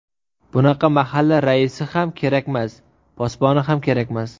Bunaqa mahalla raisi ham kerakmas, posboni ham kerakmas.